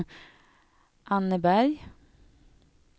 Anneberg